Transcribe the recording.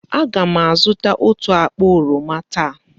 Aga m azụta otú akpa oroma taa.